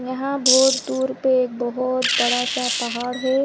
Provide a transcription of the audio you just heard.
यहाँ बहोत दूर पे एक बहोत बड़ा सा पहाड़ है।